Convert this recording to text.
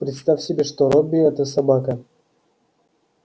представь себе что робби это собака